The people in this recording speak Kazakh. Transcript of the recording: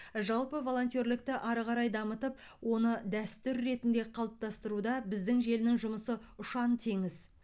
жалпы волонтерлікті ары қарай дамытып оны дәстүр ретінде қалыптастыруда біздің желінің жұмысы ұшан теңіз